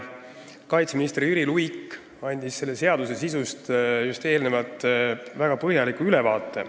Kaitseminister Jüri Luik andis selle seaduseelnõu sisust just väga põhjaliku ülevaate.